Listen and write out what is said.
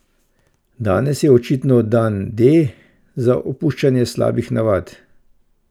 Danes je očitno dan D za opuščanje slabih navad.